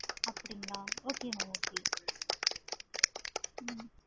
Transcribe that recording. அப்படிங்களா okay mam okay ஹம்